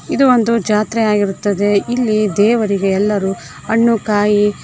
ಇದು ಒಂದು ಜಾತ್ರೆ ಆಗಿರುತ್ತದೆ ಇಲ್ಲಿ ದೇವರಿಗೆ ಎಲ್ಲರೂ ಹಣ್ಣು ಕಾಯಿ--